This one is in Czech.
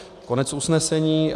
Konec usnesení.